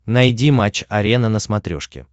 найди матч арена на смотрешке